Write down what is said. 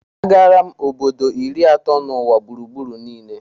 Agala m obodo iri atọ n'ụwa gburugburu niile